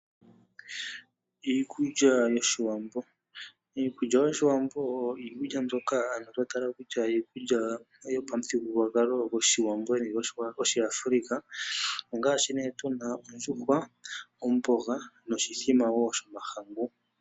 Iikulya yoshiwambo, iikulya yoshiwambo oyo iikulya mbyono twa tala kutya oyo iikulya yopamuthigululwakalo goshiwambo nenge yoshiAfrika ongashi ne tuna ondjuhwa, omboga noshimbombo shomahangu.